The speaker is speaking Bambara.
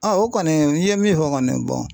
o kɔni i ye min fɔ kɔni